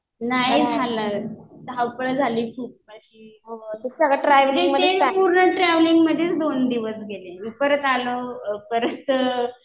नाही झाला. धावपळ झाली खूप माझी. तेच पूर्ण ट्रॅव्हलिंग मधेच दोन दिवस गेले.परत आलो. परत